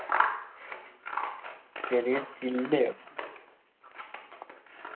ചെറിയ ജില്ലയോ